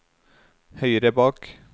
høyre bak